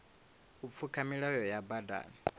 u pfuka milayo ya badani